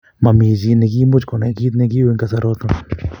Momi chi ne kiimuch konai kit ne ki au en kasaraton